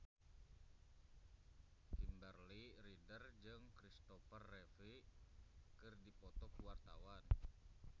Kimberly Ryder jeung Kristopher Reeve keur dipoto ku wartawan